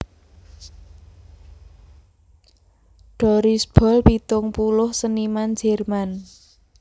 Doris Boll pitung puluh seniman Jerman